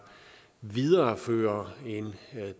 viderefører en